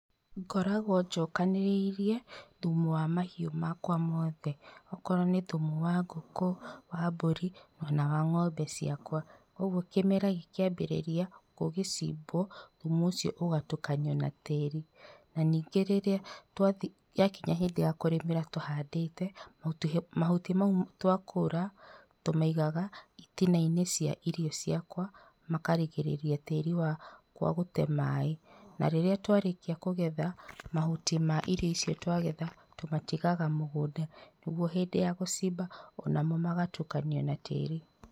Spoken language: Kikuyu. Ngoragwo njokanĩrĩirie thumu wa mahiũ makwa mothe okorwo nĩ thumu wa ngũkũ, wa mbũri kana wa ng'ombe ciakwa, ũguo kĩmera gĩkĩambĩrĩria gũgĩcimbwo thumu ũcio ũgatukanio na tĩri na ningĩ rĩrĩa ya kinya hĩndĩ ya kũrĩmĩra tũhandĩte, mahuti macio twakũra tũmaigaga itinainĩ cia irio ciakwa makarigĩrĩria tĩri wakwa gũte maĩ na rĩrĩa twarĩkia kũgetha mahuti ma irio icio twagetha tũmatigaga mũgũnda ũguo hĩndĩ ya gũcimba onamo magatukanio na tĩri.